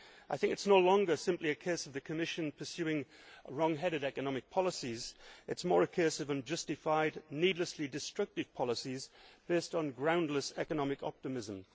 I do not think it is any longer simply a case of the Commission pursuing wrong headed economic policies, but more a case of unjustified, needlessly destructive policies based on groundless economic optimism.